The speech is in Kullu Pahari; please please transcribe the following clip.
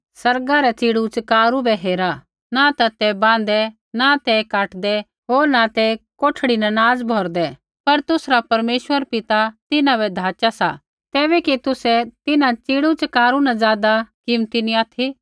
आसमाना रै च़ीड़ूच़कारू बै हेरा न ते बाँहदै न ते काटदै होर न ते कोठड़ी न नाज़ भौरदै पर तुसरा परमेश्वर पिता तिन्हां बै धाचा सा तैबै कि तुसै तिन्हां च़ीड़ूच़कारू न ज़ादा कीमती नी ऑथि